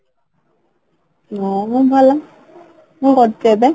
ମୁଁ ବି ଭଲ, କ'ଣ କରୁଛ ଏବେ?